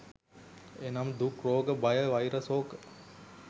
එනම් දුක්, රෝග භය, වෛර සෝක